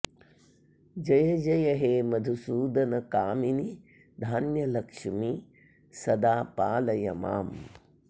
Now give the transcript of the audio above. जयजय हे मधुसूदन कामिनि धान्यलक्ष्मि सदा पालय माम्